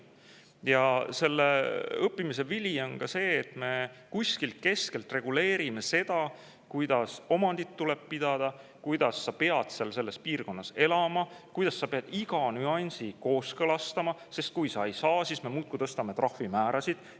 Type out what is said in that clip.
Ja selle õppimise vili on ka see, et me kuskilt keskselt reguleerime seda, kuidas omandit tuleb pidada, kuidas sa pead seal selles piirkonnas elama, kuidas sa pead iga nüansi kooskõlastama, sest kui sa seda ei tee, siis me muudkui tõstame trahvimäärasid.